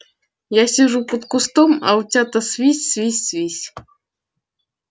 я сижу под кустом а утята свись свись свись